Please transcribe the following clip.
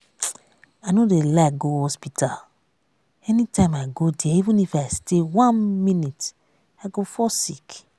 i no dey like go hospital anytime i go there even if i stay one minute i go fall sick